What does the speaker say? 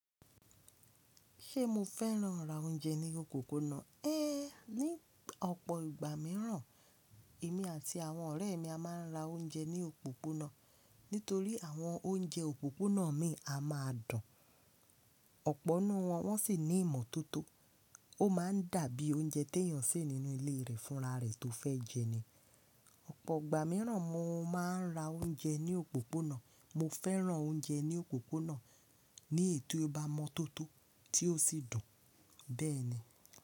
Ṣé mo fẹ́ràn ra oúnjẹ ní òpópónà? É ní ọ̀pọ̀ ìgbà mìíràn, èmi àti àwọn ọ̀rẹ́ mi a máa ń ra oúnjẹ ní òpópónà nítorí àwọn oúnjẹ òpópónà míì a máa dùn. Ọ̀pọ̀ nínú wọn, wọ́n sì ní ìmọ́tótó, ó má a ń dàbí oúnjẹ tí èèyàn sè nínú ilé rẹ̀ fúnra rẹ̀ tó fẹ́ jẹ ni. Ọ̀pọ̀ ìgbà mìíràn mo má a ń ra oúnjẹ ní òpópónà. Mo fẹ́ràn oúnjẹ ní òpópónà ní èyí tó bá mọ́ tótó tí ó sì dùn. Bẹ́ẹ̀ni.